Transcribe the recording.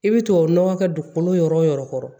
I bɛ tubabu nɔgɔ kɛ dugukolo yɔrɔ kɔrɔ